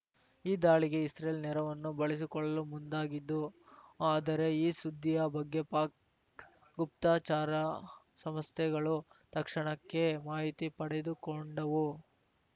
ಈ ದಾಳಿಗೆ ಇಸ್ರೇಲ್‌ ನೆರವನ್ನೂ ಬಳಸಿಕೊಳ್ಳಲು ಮುಂದಾಗಿದ್ದು ಆದರೆ ಈ ಸುದ್ದಿಯ ಬಗ್ಗೆ ಪಾಕ್‌ ಗುಪ್ತಚಾರ ಸಂಸ್ಥೆಗಳು ತಕ್ಷಣಕ್ಕೆ ಮಾಹಿತಿ ಪಡೆದುಕೊಂಡವು